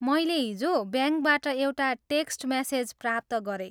मैले हिजो ब्याङ्कबाट एउटा टेक्स्ट मेसेज प्राप्त गरेँ।